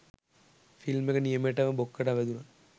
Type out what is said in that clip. film එක නියමෙටම බොක්කටම වැදුනා